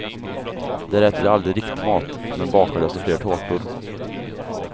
Där äter de aldrig riktig mat, men bakar desto fler tårtor.